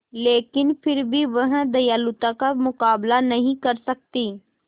लेकिन फिर भी वह दयालुता का मुकाबला नहीं कर सकती